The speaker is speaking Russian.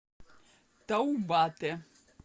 таубате